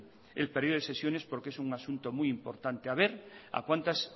el periodo de sesiones porque es un asunto muy importante a ver a cuántas